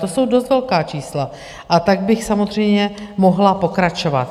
To jsou dost velká čísla, a tak bych samozřejmě mohla pokračovat.